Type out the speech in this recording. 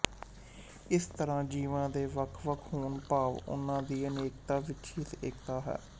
ਇਸ ਤਰਾਂ ਜੀਵਾਂ ਦੇ ਵੱਖਵੱਖ ਹੋਣ ਭਾਵ ਉਹਨਾਂ ਦੀ ਅਨੇਕਤਾ ਵਿੱਚ ਹੀ ਏਕਤਾ ਹੈ